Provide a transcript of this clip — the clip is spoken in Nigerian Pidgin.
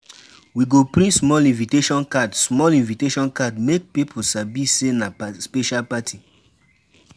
We go print small invitation card small invitation card make people sabi say na special party.